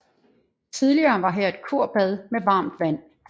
Tidligere var her et kurbad med varmt vand